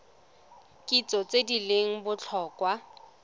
kitso tse di leng botlhokwa